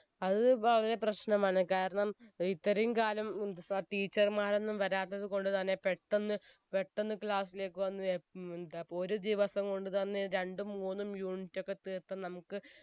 അത് വളരെ പ്രശ്നമാണ് കാരണം ഇത്രയും കാലം ഏർ എന്ത് സ teacher മാരൊന്നും വരാത്തതു കൊണ്ടുതന്നെ പെട്ടെന്ന് പെട്ടെന്ന് class ലേക്ക് വന്ന് യെപ് ഉം എന്താ പൊ ഒരു ദിവസം കൊണ്ട് തന്നെ രണ്ടും മൂന്നും unit ഒക്കെ തീർത്ത നമുക്ക്